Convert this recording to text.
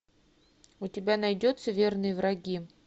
у тебя найдется верные враги